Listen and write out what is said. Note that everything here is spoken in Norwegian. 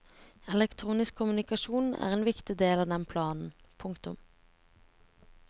Elektronisk kommunikasjon er en viktig del av den planen. punktum